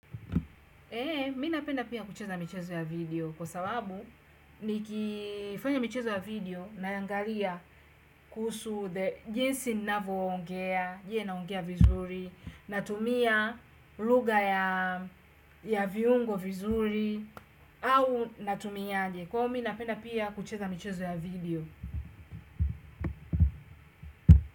Eeh, mimi napenda kucheza michezo ya video kwa sababu nikifanya michezo ya video naangalia kuhusu jinsi ninavyoongea, je, naongea vizuri? Natumia lugha ya viungo vizuri au natumiaje kwa hivyo, mimi napenda pia kucheza michezo ya video.